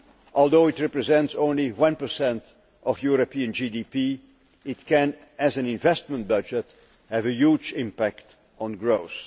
Although it represents only 1 of European GDP, it can, as an investment budget, have a huge impact on growth.